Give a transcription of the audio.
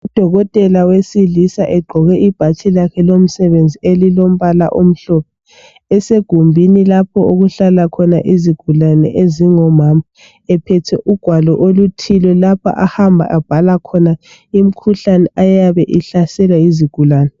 UDokotela wesilisa eqgoke ibhatshi lakhe lomsebenzi elilombala omhlophe esegumbini lapho okuhlala khona izigulane ezingomama ephethe ugwalo oluthile lapha ahamba abhala khona imikhuhlane eyabe ihlasela izigulane.